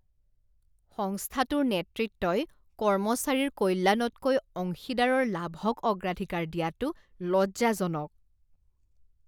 সংস্থাটোৰ নেতৃত্বই কৰ্মচাৰীৰ কল্যাণতকৈ অংশীদাৰৰ লাভক অগ্ৰাধিকাৰ দিয়াটো লজ্জাজনক।